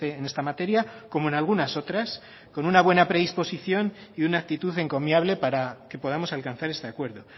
en esta materia como en algunas otras con una buena predisposición y una actitud encomiable para que podamos alcanzar este acuerdo